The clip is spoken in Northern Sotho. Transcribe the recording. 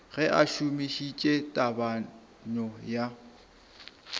ge a šomišitše tebanyo ya